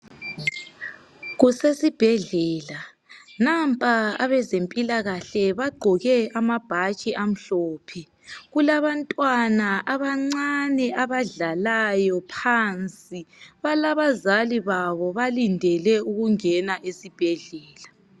Kusesibhedlela nampa abezimpilakahle bagqoke amabhatshi amhlophe kulabantwana abancane abadlalayo phansi balabazali babo balindele ukungena esibhedlela.